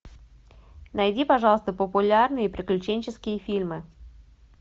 найди пожалуйста популярные приключенческие фильмы